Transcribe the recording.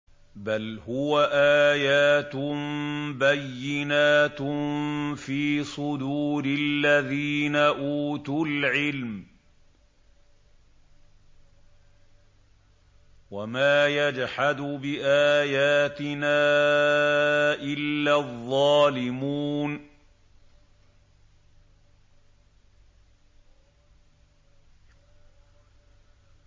بَلْ هُوَ آيَاتٌ بَيِّنَاتٌ فِي صُدُورِ الَّذِينَ أُوتُوا الْعِلْمَ ۚ وَمَا يَجْحَدُ بِآيَاتِنَا إِلَّا الظَّالِمُونَ